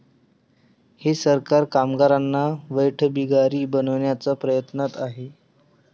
हे सरकार कामगारांना वेठबिगार बनवण्याच्या प्रयत्नात आहे.